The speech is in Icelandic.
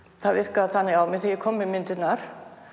það virkaði þannig á mig þegar ég kom með myndirnar